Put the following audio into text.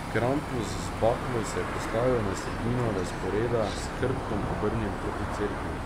Krampus z baklo se je postavil na sredino razporeda, s hrbtom obrnjen proti cerkvi.